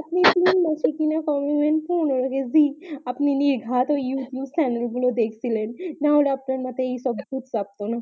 আপনি তিন মাসে কিনা কমাবেন পনোরো কেজি আপনি নির্ঘাত ওই youtube chanel গুলো দেখছিলেন নাহলে আপনার মাথায় এই সব ভুত চাপতো না